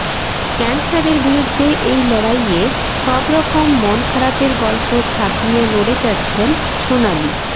ক্যানসারের বিরুদ্ধে এই লড়াইয়ে সব রকম মন খারাপের গল্প ছাপিয়ে লড়ে যাচ্ছেন সোনালি